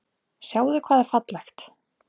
Sjáðu hvað er fallegt.